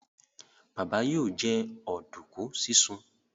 Baba yóò jẹ oduku sisùn.